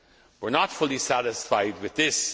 We are not fully satisfied with this.